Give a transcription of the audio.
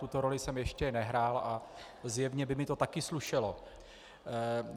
Tuto roli jsem ještě nehrál a zjevně by mi to také slušelo.